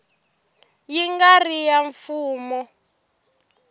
yi nga ri ya mfumo